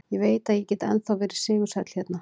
Ég veit að ég get ennþá verið sigursæll hérna.